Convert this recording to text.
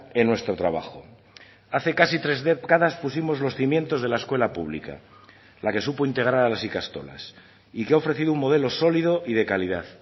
en nuestro trabajo hace casi tres décadas pusimos los cimientos de la escuela pública la que supo integrar a las ikastolas y que ha ofrecido un modelo sólido y de calidad